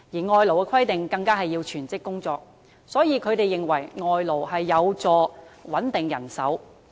外勞的規定是要全職工作，所以，他們認為外勞有助穩定人手。